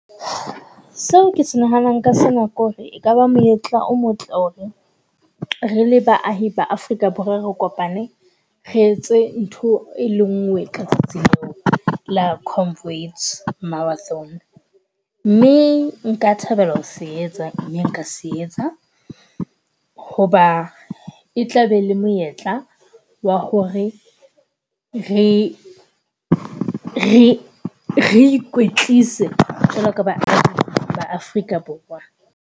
Seo ke se nahanang ka sena ke ho re ekaba monyetla o motle ho re, rele baahi ba Afrika Borwa re kopane, re etse ntho e le nngwe ka tsatsi la comrade marathon. Mme nka thabela ho se etsa, mme nka se etsa. Ho ba e tla be le monyetla wa ho re, re, re ikwetlise jwalo ka ba ba Afrika Borwa.